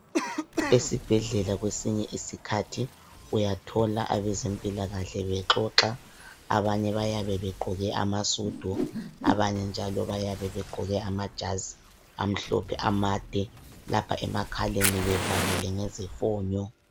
Esibhedlela kwesinye isikhathi uyathola abezempilakahle bexoxa. Abanye bayabe begqoke amasudu, abanye njalo bayabe begqoke amajazi amhlophe amade lapha emakhaleni bevalile ngezifonyo.